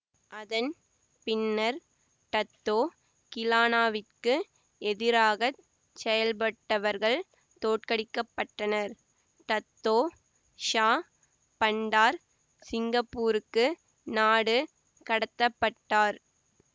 அதன் பின்னர் டத்தோ கிளானாவிற்கு எதிராக செயல்பட்டவர்கள் தோற்கடிக்க பட்டனர் டத்தோ ஷா பண்டார் சிங்கப்பூருக்கு நாடு கடத்த பட்டார்